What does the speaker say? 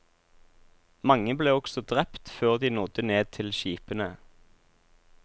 Mange ble også drept før de nådde ned til skipene.